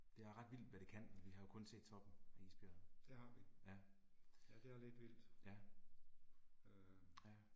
Det er ret vildt hvad det kan, for vi har jo kun set toppen af isbjerget. Ja. Ja. Ja